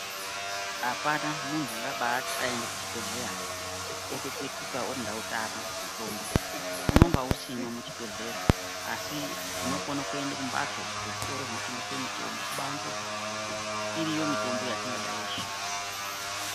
Apana muntu ungabaati aende kuchibhedhlera otopetuka oti ndautama mutombo unenge usimwo muchibhedhlera asi tinokone kuende kumhatso, kuzvitoro zvinotengeswe mitombo, kubanze iriyo mitombo yetingada yeshe.